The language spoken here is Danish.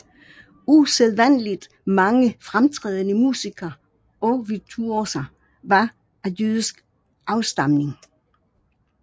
Usædvanligt mange fremtrædende musikere og virtuoser var af jødisk afstamning